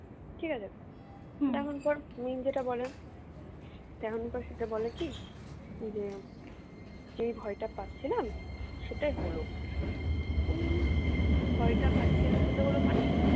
ঠিক আছে যেটা বলে তখন পর সেটা বলে কি? যে যেই ভয়টা পাচ্ছিলাম সেটাই হলো আমি ভয়টা পাচ্ছিলাম সেটা হলো মানে